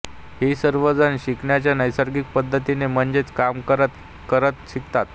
ही सर्व जण शिकण्याच्या नैसर्गिक पद्धतीने म्हणजेच काम करत करत शिकतात